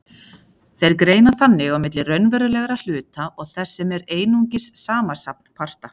Þeir greina þannig á milli raunverulegra hluta og þess sem er einungis samansafn parta.